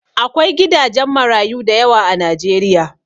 Akwai gidajen marayu dayawa a najeriya